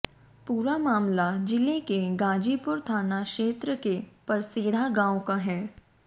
पूरा मामला जिले के गाजीपुर थाना क्षेत्र के परसेढ़ा गांव का है